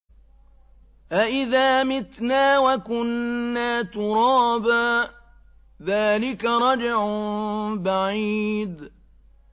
أَإِذَا مِتْنَا وَكُنَّا تُرَابًا ۖ ذَٰلِكَ رَجْعٌ بَعِيدٌ